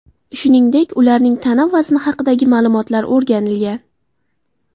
Shuningdek, ularning tana vazni haqidagi ma’lumotlar o‘rganilgan.